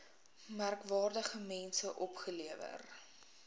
merkwaardige mense opgelewer